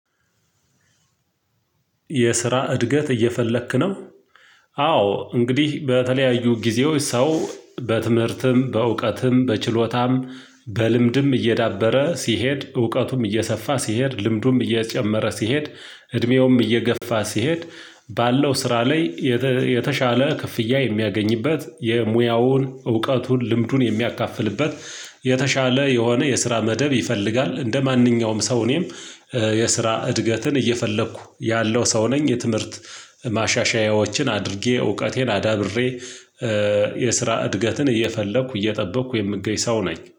የስራ እድገት እየፈለክ ነው? አዎ እንግዲህ በተለያዩ ጊዜዎች ሰው በትምህርትም፣ በእውቀትም፣ በችሎታም፣ በልምድም እየዳበረ ሲሄድ፣ እውቀቱም እየሰፋ ሲሄድ፣ ልምዱም እየጨመረ ሲሄድ፣ እድሜውም እየገፋ ሲሄድ ባለው ስራ ላይ የተሻለ ክፍያ የሚያገኝበት የሙያውን እውቀቱን ልምዱን የሚያካፍልበት የተሻለ የሆነ የስራ መደብ ይፈልጋል፤ እንደማንኛውም ሰው እኔም የስራ እድገትን እየፈለኩ ያለው ሰው ነኝ የትምህርት ማሻሻያዎችን አድርጌ እውቀቴን አዳብሬ የስራ እድገትን እየፈለኩ እየጠበቅኩ የምገኝ ሰው ነኝ